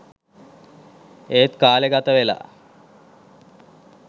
එත් කාලේ ගතවෙලා